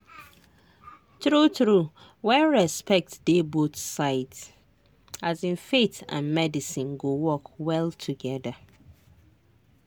true true when respect dey both sides um faith and medicine go work well together.